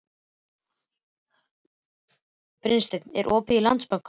Brynsteinn, er opið í Landsbankanum?